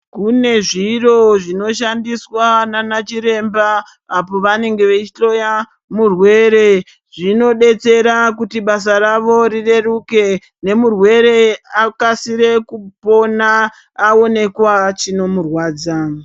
Kune zviro zvinoshandiswa nanachiremba apo vanenge veihloya murwere. Zvinobatsira kuti basa ravo rireruke nemurwere akasire kupona, awonekwa chinomurwadza.